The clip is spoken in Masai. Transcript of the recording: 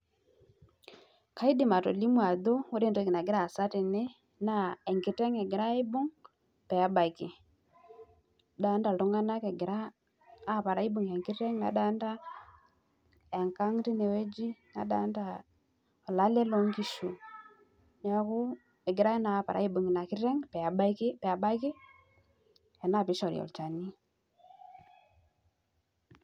Ore entoki nagira aasa tene naa enkiteng' egirai aibung' peebaiki nadolita iltunganak oibungita enkang nadolita enkang nadolita olale loongishu neeku egirai naa aopare aibung nena kishu peebaki ena piishori olchani